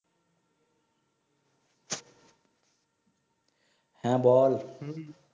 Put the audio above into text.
হ্যাঁ বল